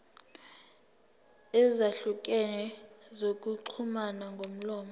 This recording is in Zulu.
ezahlukene zokuxhumana ngomlomo